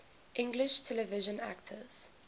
english television actors